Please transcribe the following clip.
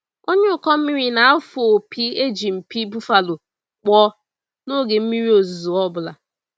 Onye ụkọ mmiri na-afụ opi e ji mpi buffalo kpụọ n'oge mmiri ozuzo ọ bụla.